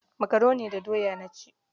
Makaroni da doya na ci.